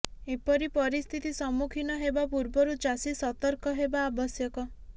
ଏପରି ପରିସ୍ଥିତି ସମ୍ମୁଖିନ ହେବା ପୂର୍ବରୁ ଚାଷୀ ସତର୍କ ହେବା ଆବଶ୍ୟକ